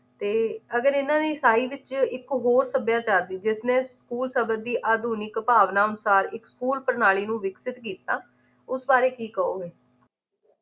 ਤੇ ਅਗਰ ਇਹਨਾਂ ਦੀ ਈਸਾਈ ਵਿੱਚ ਇੱਕ ਹੋਰ ਸੱਭਿਆਚਾਰ ਦੀ ਜਿਸਨੇ school ਸ਼ਬਦ ਦੀ ਆਧੁਨਿਕ ਭਾਵਨਾ ਅਨੁਸਾਰ ਇੱਕ ਹੋਰ ਪ੍ਰਣਾਲੀ ਨੂੰ ਵਿਕਸਿਤ ਕੀਤਾ ਇਸ ਬਾਰੇ ਕੀ ਕਹੋਗੇ